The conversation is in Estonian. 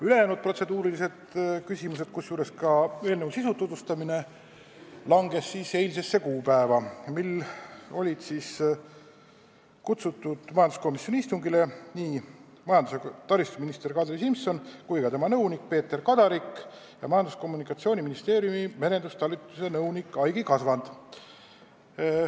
Ülejäänud protseduurilised ettepanekud ja ka eelnõu sisu tutvustamine langesid eilsele kuupäevale, mil majanduskomisjoni istungile olid kutsustud ka majandus- ja taristuminister Kadri Simson, tema nõunik Peeter Kadarik ja Majandus- ja Kommunikatsiooniministeeriumi merendustalituse nõunik Aigi Kasvand.